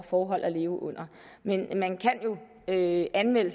forhold at leve under men man kan jo anmelde